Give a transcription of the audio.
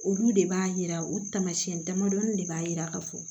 Olu de b'a yira o taamasiyɛn damadɔni de b'a yira ka fɔ